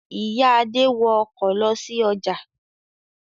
Ìyá Adé wọ ọkọ̀ lọ sí ọjà.